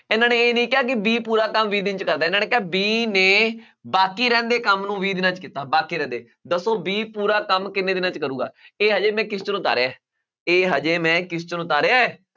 ਇਹਨਾਂ ਨੇ ਇਹ ਨੀ ਕਿਹਾ ਕਿ b ਪੂਰਾ ਕੰਮ ਵੀਹ ਦਿਨ 'ਚ ਕਰਦਾ ਹੈ ਇਹਨਾਂ ਨੇ ਕਿਹਾ b ਨੇ ਬਾਕੀ ਰਹਿੰਦੇ ਕੰਮ ਨੂੰ ਵੀਹ ਦਿਨਾਂ 'ਚ ਕੀਤਾ, ਬਾਕੀ ਰਹਿੰਦੇ ਦੱਸੋ b ਪੂਰਾ ਕੰਮ ਕਿੰਨੇ ਦਿਨਾਂ 'ਚ ਕਰੇਗਾ ਇਹ ਹਜੇ ਮੈਂ ਉਤਾਰਿਆ ਹੈ ਇਹ ਹਜੇ ਮੈਂ ਉਤਾਰਿਆ ਹੈ